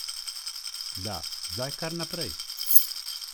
Da, zdaj kar naprej.